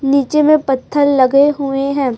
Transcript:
नीचे में पत्थल लगे हुए हैं।